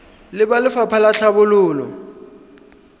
le ba lefapha la tlhabololo